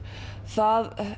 það